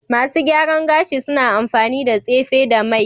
Masu gyaran gashi suna amfani da tsefe da mai